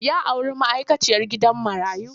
Ya auri ma'aikaciyar gidan marayu.